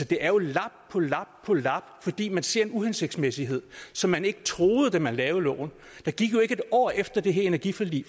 det er jo lap på lap på lap fordi man ser en uhensigtsmæssighed som man ikke troede der man lavede loven der gik ikke et år efter at det her energiforlig